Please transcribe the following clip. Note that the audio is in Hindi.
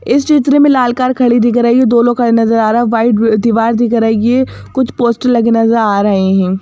इस चित्र में लाल कार खड़ी दिख रही हैं दोनों खड़े नजर आ रहा हैं वाइट दीवार दिख रही हैं कुछ पोस्टर लगे नजर आ रहे हैं।